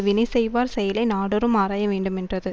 வினைசெய்வார் செயலை நாடோறும் ஆராய வேண்டுமென்றது